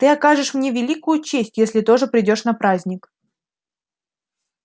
ты окажешь мне великую честь если тоже придёшь на праздник